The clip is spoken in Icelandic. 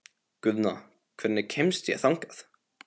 Guðna, hvernig kemst ég þangað?